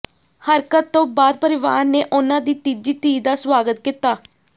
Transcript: ਹਰਕਤ ਤੋਂ ਬਾਅਦ ਪਰਿਵਾਰ ਨੇ ਉਨ੍ਹਾਂ ਦੀ ਤੀਜੀ ਧੀ ਦਾ ਸਵਾਗਤ ਕੀਤਾ